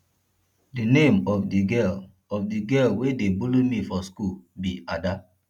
the name of the girl of the girl wey dey bully me for school be ada